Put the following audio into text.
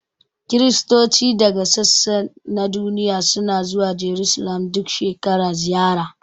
Kiristoci daga sassa na duniya suna zuwa Jarusalim duk shekara ziyara